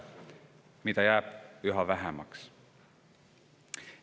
Neid on jäänud üha vähemaks.